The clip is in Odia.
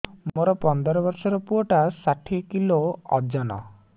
ମୋର ପନ୍ଦର ଵର୍ଷର ପୁଅ ଟା ଷାଠିଏ କିଲୋ ଅଜନ